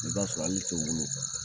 I bi taa sɔrɔ ale de te wolo.